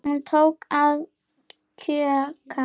Hún tók að kjökra.